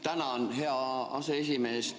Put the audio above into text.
Tänan, hea aseesimees!